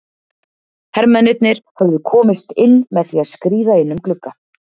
Hermennirnir höfðu komist inn með því að skríða inn um glugga.